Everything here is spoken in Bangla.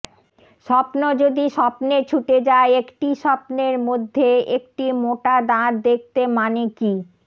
স্বপ্ন যদি স্বপ্নে ছুটে যায় একটি স্বপ্নের মধ্যে একটি মোটা দাঁত দেখতে মানে কি